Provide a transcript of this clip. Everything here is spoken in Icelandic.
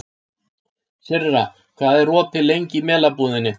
Sirra, hvað er opið lengi í Melabúðinni?